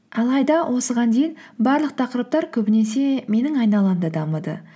алайда осыған дейін барлық тақырыптар көбінесе менің айналамда дамыды